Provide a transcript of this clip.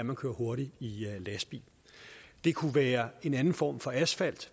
man kører hurtigt i lastbil det kunne være en anden form for asfalt